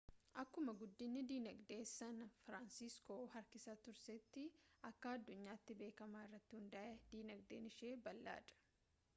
akkuma guddinni dinagdee san firaansiskoo harkisa tuuristii akka addunyaatti beekamaa irratti hundaa'e dinagdeen ishee bal'aa dha